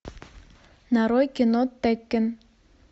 нарой кино теккен